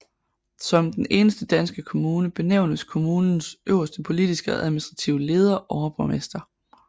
Som den eneste danske kommune benævnes kommunens øverste politiske og administrative leder overborgmester